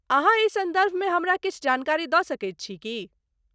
अहाँ एहि सन्दर्भमे हमरा किछु जानकारी दऽ सकैत छी की ?